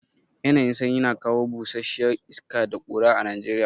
Yanayin sanyi na kawo busasshiya iska da ƙura a Najeriya.